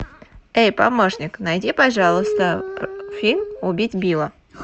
эй помощник найди пожалуйста фильм убить билла